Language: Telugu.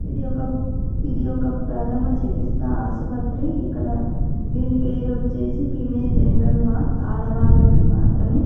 ఇది ఒక ప్రధమ చికిత్స ఆసుపత్రి ఇక్కడ దీని పేరు వచ్చేసి ఫిమేల్ జనరల్ వార్డ్ ఆడవాళ్లది మాత్రమే.